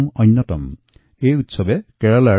এই উৎসৱ নিজা সামাজিক আৰু সাংস্কৃতিক মহত্বৰ বাবে বিখ্যাত